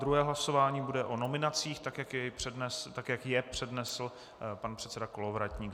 Druhé hlasování bude o nominacích, tak jak je přednesl pan předseda Kolovratník.